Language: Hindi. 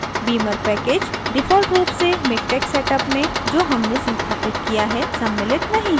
beamer package default रूप से miktex setup में जो हमने संस्थापित किया है सम्मिलित नहीं है